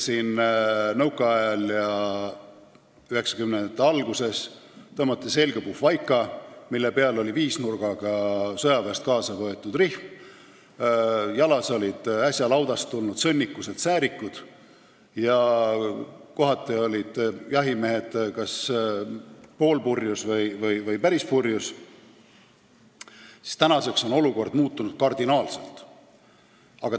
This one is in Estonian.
Kui nõukaajal ja 1990-ndate alguses tõmmati tõesti selga puhvaika, mille peal oli sõjaväest kaasa võetud viisnurgaga rihm, jalas olid äsja laudast tulnud sõnnikused säärikud ja kohati olid jahimehed kas poolpurjus või päris purjus, siis tänaseks on olukord kardinaalselt muutunud.